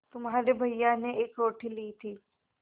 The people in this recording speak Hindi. तुम्हारे भैया ने एक रोटी ली थी